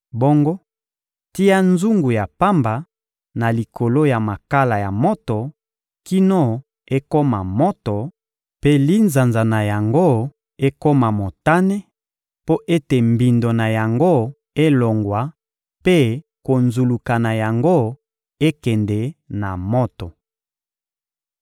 Bongo tia nzungu ya pamba na likolo ya makala ya moto kino ekoma moto mpe linzanza na yango ekoma motane, mpo ete mbindo na yango elongwa mpe konzuluka na yango ekende na moto.